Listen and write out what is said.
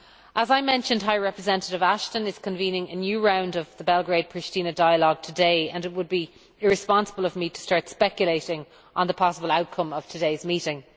As I mentioned, High Representative Ashton is convening a new round of the Belgrade Pristina dialogue today, and it would be irresponsible of me to start speculating on the possible outcome of today's meeting.